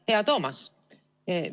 Hea Toomas!